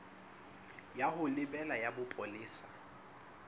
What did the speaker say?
ya ho lebela ya bopolesa